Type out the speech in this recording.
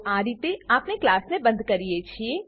તો આ રીતે આપણે ક્લાસને બંધ કરીએ છીએ